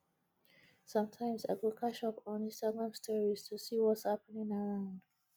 sometimes i go catch up on instagram stories to see whats happening around